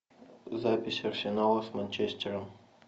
запись арсенала с манчестером